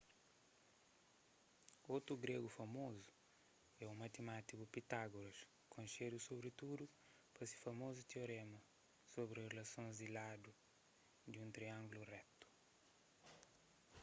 otu gregu famozu é un matimátiku pitágoras konxedu sobritudu pa se famozu tioréma sobri rilasons di ladu di triângulus retu